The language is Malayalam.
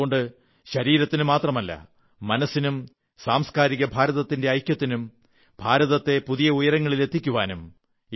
അതുകൊണ്ട് ശരീരത്തിനു മാത്രമല്ല മനസ്സിനും സാംസ്കാരിക ഭാരതത്തിന്റെ ഐക്യത്തിനും ഭാരതത്തെത പുതിയ ഉയരങ്ങളിലെത്തിക്കാനും